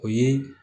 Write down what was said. O ye